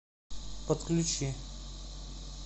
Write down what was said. подключи